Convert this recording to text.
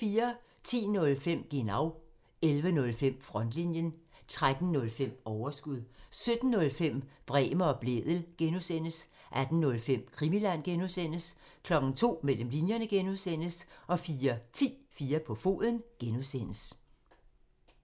10:05: Genau (tir) 11:05: Frontlinjen (tir) 13:05: Overskud (tir) 17:05: Bremer og Blædel (G) (tir) 18:05: Krimiland (G) (tir) 02:00: Mellem linjerne (G) 04:10: 4 på foden (G)